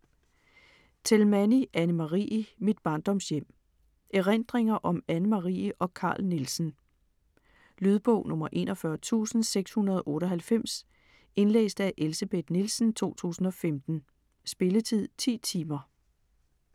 Telmanyi, Anne Marie: Mit barndomshjem Erindringer om Anne Marie og Carl Nielsen. Lydbog 41698 Indlæst af Elsebeth Nielsen, 2015. Spilletid: 10 timer, 0 minutter.